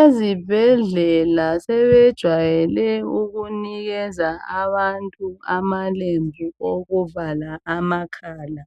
Ezibhedlela sebejwayele ukunikeza abantu amalembu okuvala amakala.